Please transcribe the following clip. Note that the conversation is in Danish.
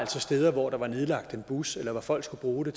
steder hvor der var nedlagt en bus eller hvor folk skulle bruge